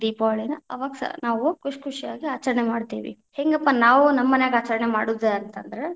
ದೀಪಾವಳನ ಅವಾಗ್‌ ಸ ನಾವು ಖುಷಿ ಖುಷಿಯಾಗಿ ಆಚರಣೆ ಮಾಡ್ತೀವಿ, ಹೆಂಗಪ್ಪಾ ನಾವು ನಮ್ಮ ಮನ್ಯಾಗ ಆಚರಣೆ ಮಾಡುದ ಅಂತ ಅಂದ್ರ.